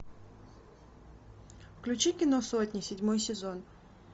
включи кино сотня седьмой сезон